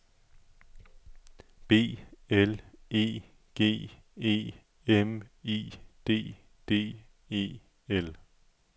B L E G E M I D D E L